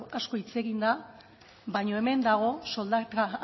asko hitz egin da baina hemen dago soldata